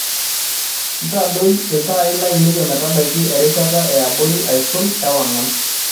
ntadoi iltaai lainei ometabaiki erishata eabori aisul ewang'an